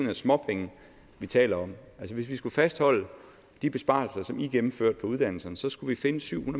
er småpenge vi taler om hvis vi skulle fastholde de besparelser som i gennemførte på uddannelserne så skulle vi finde syv